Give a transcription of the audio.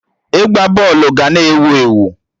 Ịgba bọọlụ ga na ewu ewu